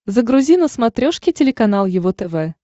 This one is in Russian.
загрузи на смотрешке телеканал его тв